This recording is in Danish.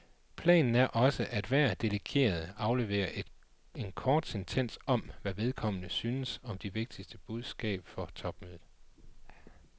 Planen er også, at hver delegeret afleverer en kort sentens om, hvad vedkommende synes er det vigtigste budskab for topmødet.